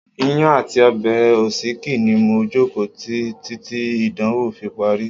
Iyán àti ọbẹ̀ òsíkí ni mo jókòó tí títí ìdánwò fi parí.